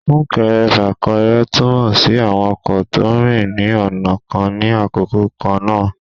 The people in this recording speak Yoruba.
sunkẹrẹ-fakẹrẹ tumọ si awọn ọkọ to ń rín ní ọna kán ni àkókò kan na.